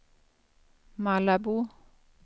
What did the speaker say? Malabo